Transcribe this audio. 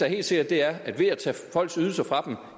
helt sikkert er at ved at tage folks ydelser fra dem